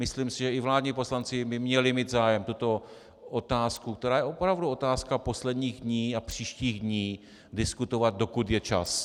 Myslím si, že i vládní poslanci by měli mít zájem tuto otázku, která je opravdu otázkou posledních dní a příštích dní, diskutovat, dokud je čas.